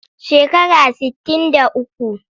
Shekara sittin da uku.